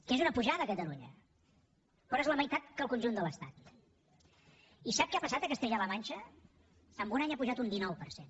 que és una pujada a catalunya però és la meitat que en el conjunt de l’estati sap què ha passat a castella la manxa en un any ha pujat un dinou per cent